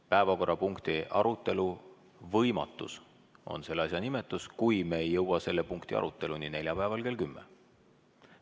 Päevakorrapunkti arutelu võimatus on selle asja nimetus, kui me ei jõua selle punkti aruteluni neljapäeval kell 10.